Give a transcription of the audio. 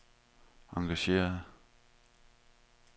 engageret